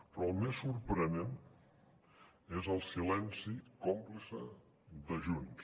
però el més sorprenent és el silenci còmplice de junts